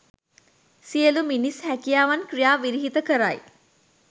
සියළු මිනිස් හැකියාවන් ක්‍රියා විරහිත කරයි